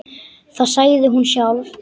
Það sagði hún sjálf.